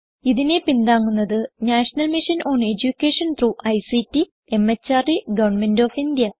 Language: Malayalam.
ഇതിനെ പിന്താങ്ങുന്നത് national mission on education through ICT MHRD government of India